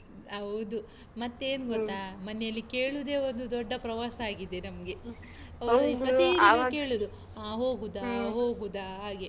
ಹೌದು ಮತ್ತೇನ್ ಗೊತ್ತಾ ಮನೇಲ್ಲಿ ಕೇಳುದೇ ಒಂದು ದೊಡ್ಡ ಪ್ರವಾಸ ಆಗಿದೆ ನಮ್ಗೆ. ಪ್ರತೀದಿನ ಕೇಳುದು ಹ ಹೋಗುದಾ ಹೋಗುದಾ ಹಾಗೆ